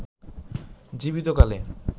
জীবিত কালে